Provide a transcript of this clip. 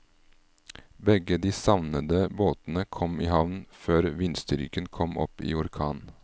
Begge de savnede båtene kom i havn før vindstyrken kom opp i orkan.